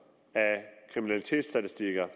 kriminalitetsstatistikker